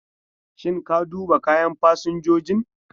Shin ka duba kayan fasinjojin?